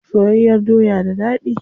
Soyayyar doya da dadi.